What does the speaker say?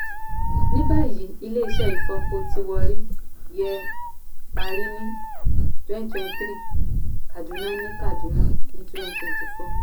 nibayi ilé-iṣẹ́ ifopo tí warri yẹ parí ni twenty thirty three kaduna ni kaduna ni twenty four